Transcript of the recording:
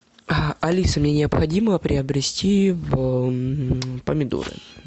алиса мне необходимо приобрести помидоры